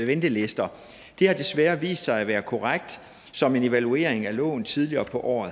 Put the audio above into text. ventelister det har desværre vist sig at være korrekt som en evaluering af loven tidligere på året